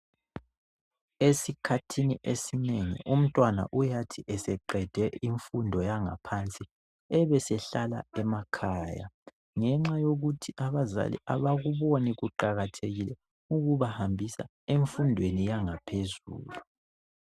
Esikhathini esinengi umntwana uyathi eseqede imfundo yangaphansi ebesehlala emakhaya ngenxa yokuthi abazali abakuboni kuqakathekile ukubahambisa emfundweni yangaphezulu.